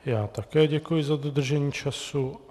Já také děkuji za dodržení času.